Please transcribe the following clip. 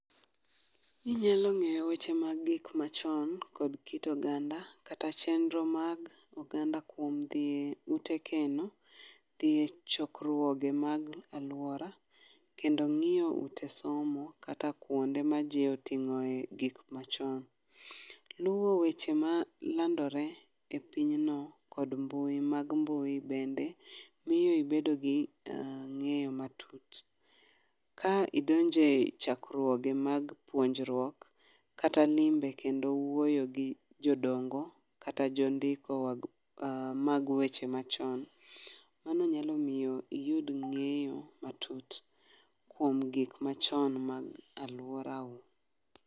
Inyalo ng'eyo weche mag gik machon kod kit oganda kata chenro mag oganda kuom dhi eute keno, dhi e chokruoge mag aluora, kendo ng'iyo ute somo kata kuonde maji oting'oe gik machon. Luwo weche malandore e pinyno kod mbui mag mbui bende miyo ibedo ging'eyo matut ka idonjo e chakruoge mag puonjruok kata limbe kendo wuoyo gi jodongo kata jondiko mag weche machon. Mago nyalo miyo iyud ng'eyo matut kuom gik mag aluorau.